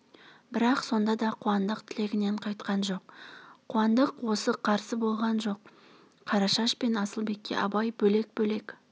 бірақ сонда да қуандық тілегінен қайтқан жоқ қуандық қарсы болған жоқ қарашаш пен асылбекке абай бөлек-бөлек